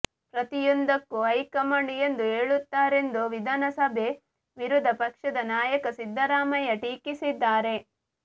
ಪ್ರತಿಯೊಂದಕ್ಕೂ ಹೈಕಮಾಂಡ್ ಎಂದು ಹೇಳುತ್ತಾರೆಂದು ವಿಧಾನಸಭೆ ವಿರೋಧ ಪಕ್ಷದ ನಾಯಕ ಸಿದ್ದರಾಮಯ್ಯ ಟೀಕಿಸಿದ್ದಾರೆ